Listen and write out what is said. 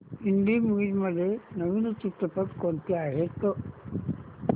Hindi movies मध्ये नवीन चित्रपट कोणते आहेत